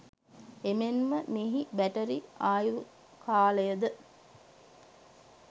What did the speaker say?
එමෙන්ම මෙහි බැටරි ආයු කාලයද